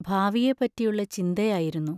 ഭാവിയെപ്പറ്റിയുള്ള ചിന്തയായിരുന്നു.